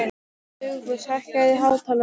Dugfús, hækkaðu í hátalaranum.